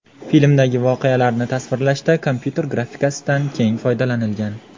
Filmdagi voqealarni tasvirlashda kompyuter grafikasidan keng foydalanilgan.